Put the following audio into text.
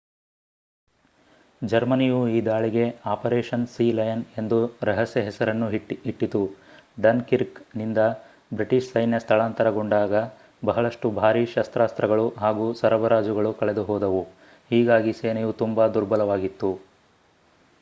ಜರ್ಮನಿಯು ಈ ದಾಳಿಗೆ ಅಪರೇಷನ್ ಸೀಲಯನ್ ಎಂದು ರಹಸ್ಯ ಹೆಸರನ್ನು ಇಟ್ಟಿತು ಡನ್ ಕಿರ್ಕ್ ನಿಂದ ಬ್ರಿಟಿಷ್ ಸೈನ್ಯ ಸ್ಥಳಾಂತರಗೊಂಡಾಗ ಬಹಳಷ್ಟು ಭಾರಿ ಶಸ್ತ್ರಾಸ್ತ್ರಗಳು ಹಾಗೂ ಸರಬರಾಜುಗಳು ಕಳೆದುಹೋದವು ಹೀಗಾಗಿ ಸೇನೆಯು ತುಂಬಾ ದುರ್ಬಲವಾಗಿತ್ತು